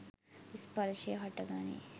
ස්පර්ෂය හට ගනී.